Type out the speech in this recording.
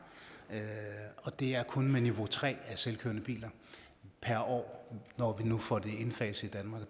og det er kun med niveau tre af selvkørende biler per år når vi nu får det indfaset